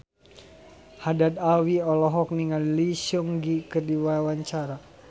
Haddad Alwi olohok ningali Lee Seung Gi keur diwawancara